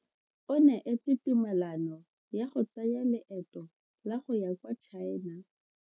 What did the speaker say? O neetswe tumalano ya go tsaya loeto la go ya kwa China.